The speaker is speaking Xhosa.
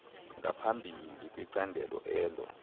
ngaphambili kwicandelo elo